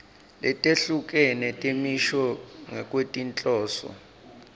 letehlukene temisho ngekwetinhloso